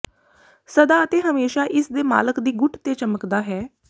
ਸਦਾ ਅਤੇ ਹਮੇਸ਼ਾਂ ਇਸਦੇ ਮਾਲਕ ਦੀ ਗੁੱਟ ਤੇ ਚਮਕਦਾ ਹੈ